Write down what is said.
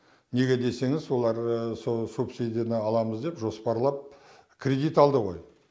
неге десеңіз олар сол субсидияны аламыз деп жоспарлап кредит алды ғой